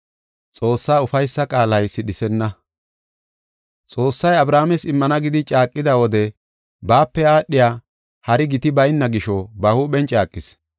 Xoossay Abrahaames immana gidi caaqida wode baape aadhiya hari giti bayna gisho ba huuphen caaqis.